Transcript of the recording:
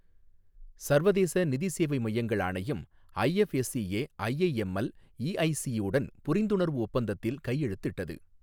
சர்வதேச நிதி சேவை மையங்கள் ஆணையம் ஐஎஃப்எஸ்சிஏ ஐஐஎம்எல் இஐசியுடன் புரிந்துணர்வு ஒப்பந்தத்தில் கையெழுத்திட்டது